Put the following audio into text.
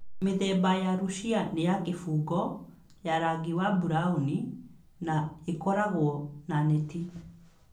Mĩthemba ya Russia nĩ ya kĩbungo, ya rangi wa burauni, na ĩkoragwo na neti